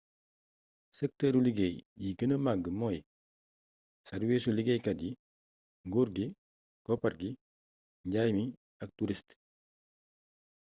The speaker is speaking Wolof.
sektëru liggéey yi gëna mag mooy sàrwiisu liggéeykat yi nguur gi koppar gi njaay mi ak turist